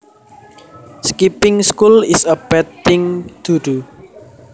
Skipping school is a bad thing to do